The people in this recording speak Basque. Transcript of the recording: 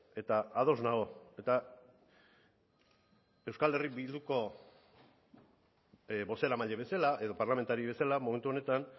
eta ados nago eta euskal herria bilduko bozeramaile bezala edo parlamentari bezala momentu honetan